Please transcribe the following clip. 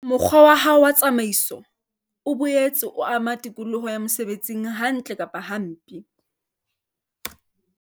Mokgwa wa hao wa tsamaiso o boetse o ama tikoloho ya mosebetsing hantle kapa hampe.